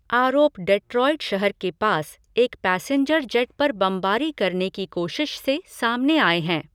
आरोप डेट्रॉइट शहर के पास एक पैसेंजर जेट पर बमबारी करने की कोशिश से सामने आए हैं।